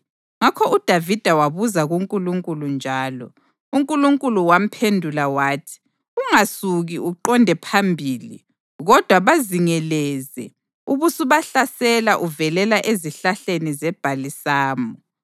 ngakho uDavida wabuza kuNkulunkulu njalo, uNkulunkulu wamphendula wathi, “Ungasuki uqonde phambili kodwa bazingeleze ubusubahlasela uvelela ezihlahleni zebhalisamu.